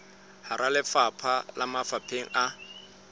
hara lefapha le mafapheng a